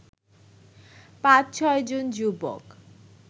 ৫-৬জন যুবক